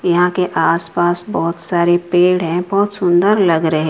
यहां के आसपास बहोत सारे पेड़ हैं बहोत सुंदर लग रहे--